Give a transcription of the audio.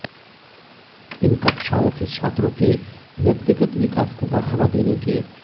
इन कक्षाओं के छात्रों के व्यक्तिगत विकास को बढ़ावा देने के